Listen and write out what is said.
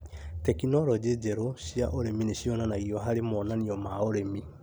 Tekinorojĩ njerũ cia ũrĩmi nĩcionanagio harĩ monanio ma ũrĩmi